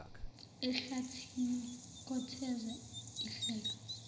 ehlathini kotheza ihleka